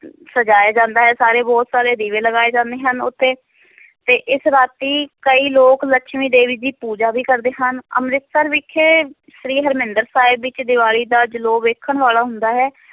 ਸਜਾਇਆ ਜਾਂਦਾ ਹੈ ਸਾਰੇ ਬਹੁਤ ਸਾਰੇ ਦੀਵੇ ਲਗਾਏ ਜਾਂਦੇ ਹਨ ਉਹ ਤੇ ਤੇ ਇਸ ਰਾਤੀ ਕਈ ਲੋਕ ਲਕਸ਼ਮੀ ਦੇਵੀ ਦੀ ਪੂਜਾ ਵੀ ਕਰਦੇ ਹਨ, ਅੰਮ੍ਰਿਤਸਰ ਵਿਖੇ ਸ੍ਰੀ ਹਰਿਮੰਦਰ ਸਾਹਿਬ ਵਿੱਚ ਦੀਵਾਲੀ ਦਾ ਜਲੌ ਵੇਖਣ ਵਾਲਾ ਹੁੰਦਾ ਹੈ।